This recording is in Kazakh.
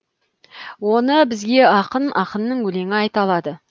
оны бізге ақын ақынның өлеңі айта алады